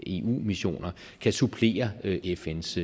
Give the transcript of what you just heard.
eu missioner kan supplere fns